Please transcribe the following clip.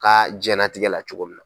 Ka diɲɛlatigɛ la cogo min na.